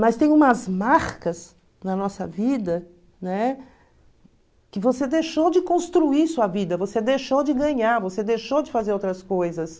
Mas tem umas marcas na nossa vida, né, que você deixou de construir sua vida, você deixou de ganhar, você deixou de fazer outras coisas.